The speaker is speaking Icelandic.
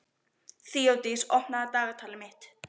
Þeódís, opnaðu dagatalið mitt.